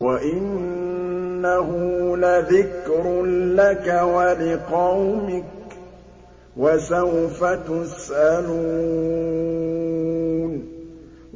وَإِنَّهُ لَذِكْرٌ لَّكَ وَلِقَوْمِكَ ۖ وَسَوْفَ تُسْأَلُونَ